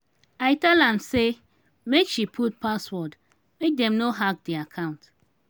i tell am say make she put password make dem no hack di account.